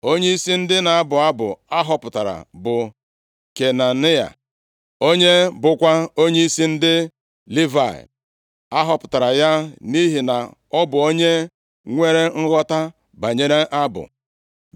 Onyeisi ndị na-abụ abụ a họpụtara bụ Kenaniya, onye bụkwa onyeisi ndị Livayị. A họpụtara ya nʼihi na ọ bụ onye nwere nghọta banyere abụ.